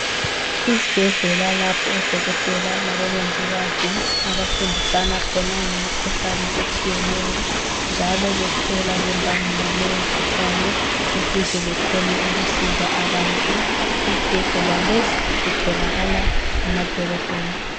Isibhedlela lapho odokotela labomongikazi abafundisana khona ngemikhuhlane etshiyeneyo njalo bethola lembangela yaleyo mikhuhlane ukuze bekhone ukusiza abantu . Isibhedlela lesi sitholakala emadolobheni.